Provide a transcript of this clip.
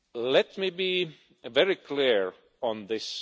Let me be very clear on this.